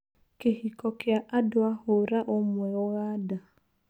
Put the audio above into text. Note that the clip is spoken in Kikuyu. Kĩhiko kĩa andũa hũra ũmwe ũganda.